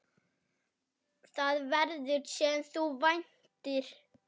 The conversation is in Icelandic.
Það verður, sem þú væntir.